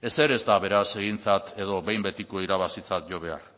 ezer ez da beraz egintzat edo behin betiko irabazitzat jo behar